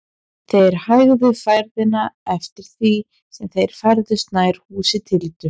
Þeir hægðu ferðina eftir því sem þeir færðust nær húsi Tildu.